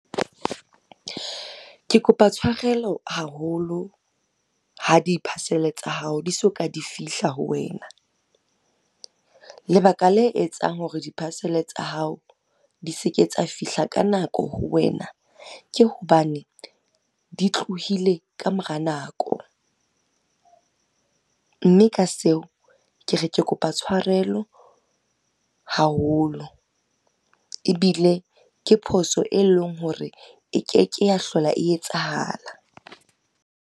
Ke kopa tshwarelo haholo ha di-parcel tsa hao di soka di fihla ho wena. Lebaka le etsang hore di-parcel tsa hao di seke tsa fihla ka nako ho wena, ke hobane di tlohile ka mora nako. Mme ka seo, ke re ke kopa tshwarelo haholo, ebile ke phoso e leng hore e ke ke ya hlola e etsahala.